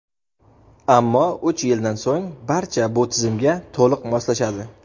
ammo uch yildan so‘ng barcha bu tizimga to‘liq moslashadi.